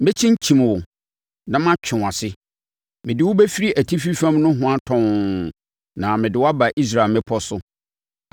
Mɛkyinkyim wo na matwe wʼase. Mede wo bɛfiri atifi fam nohoa tɔnn na mede aba Israel mmepɔ so.